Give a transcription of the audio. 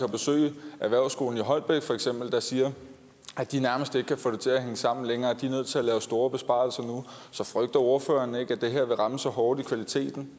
besøge erhvervsskolen i holbæk der siger at de nærmest ikke kan få det til at hænge sammen længere de er nødt til at lave store besparelser nu så frygter ordføreren ikke at det her vil ramme så hårdt i kvaliteten